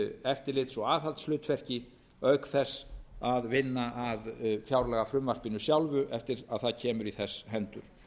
eftirlits og aðhaldshlutverki auk þess að vinna að fjárlagafrumvarpinu sjálfu eftir að það kemur í þess hendur